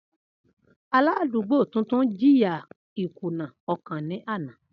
Aladugbo tuntun jiya ikuna ọkan ni ana.